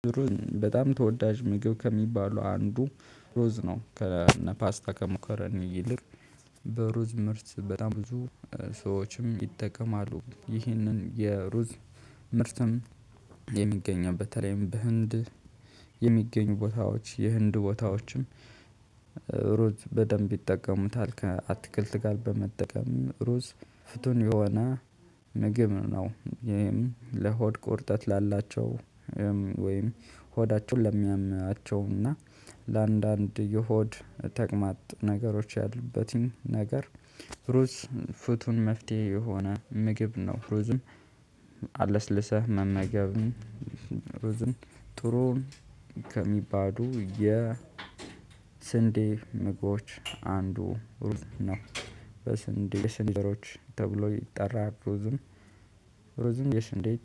ሩዝ በጣም ተወዳጅ ምግብ ከሚባሉ አንዱ ሩዝ ነ። ከነ ፓስታ ከመከረኒ ይልቅ በሩዝ ምርት በጣም ብዙ ሰዎችም ይጠቀማሉ። ይህንን የሩዝ ምርትም የሚገኘው በተለይም በህንድ የሚገኙ ቦታዎች የህንድ ቦታዎችም ሩዝ በደንብ ይጠቀሙታል። ከአትክልት ጋር በመጠቀም ሩዝ ፍቱን የሆነ ምግብ ነው። ለሆድ ቁርጠት ላላቸው ወይም ሆዳቸውን ለሚያማናቸው እና ለአንዳንድ የሆድ ተቅማጥ ነገሮች ያሉበትን ነገር ሩዝ ፍቱን መፍትሄ የሆነ ምግብ ነው። ሩዝን አለስልሰህ መመገብ ሩዝን ጥሩን ከሚባዱ የስንዴ ምግቦች አንዱ ሩዝ ነው። በስንዴ ስንዴ ሮች ተብሎ ይጠራል። ሩዝም ሩዝም የስንዴ